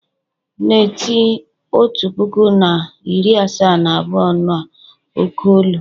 na-eti otu puku na iri asaa na abụọ n'oké olu!